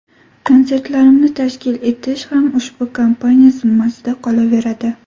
Konsertlarimni tashkil etish ham ushbu kompaniya zimmasida qolaveradi.